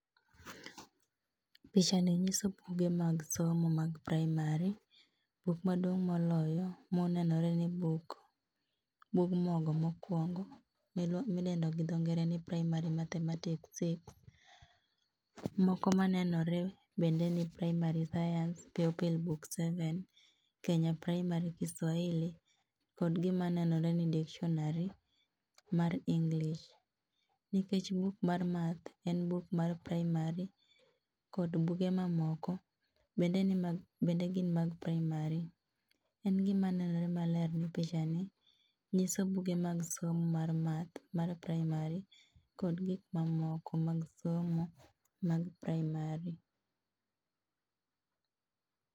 Pichani nyiso buge mag somo mag primary, buk maduong' moloyo monenore ni buk, bug mogo mokuondo midendoni gi dho ngere ni Primary Mathematics six, moko manenore bende ni primary science pupil book seven, Kenya primary Kiswahili kod gima nenonre ni dictionary mar English. nikech buk mar math en buk mar primary kod buge mamoko bende gin mag primary. En gima nenore maler ni pichani nyiso buge mag somo mar math mar primary kod gik mamoko mag somo mag primary